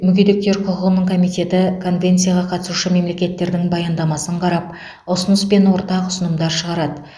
мүгедектер құқығының комитеті конвенцияға қатысушы мемлекеттердің баяндамасын қарап ұсыныс пен ортақ ұсынымдар шығарады